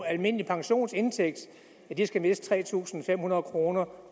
almindelig pensionsindtægt skal miste tre tusind fem hundrede kroner